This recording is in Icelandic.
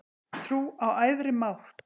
Trú á æðri mátt